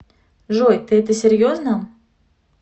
джой ты это серьезно